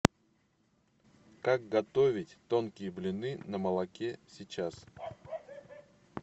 как готовить тонкие блины на молоке сейчас